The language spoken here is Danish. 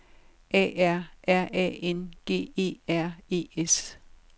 A R R A N G E R E S